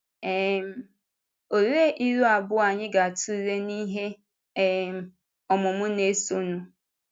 um Òlee ilu abụọ anyị ga-atụle n’ihe um ọmụmụ na-esonụ?